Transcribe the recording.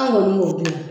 An kɔni b'o dɔn